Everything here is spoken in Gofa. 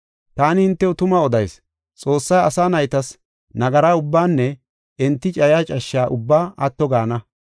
“Taani hintew tuma odayis; Xoossay asa naytas nagara ubbaanne enti cayiya cashshe ubbaa atto gaana.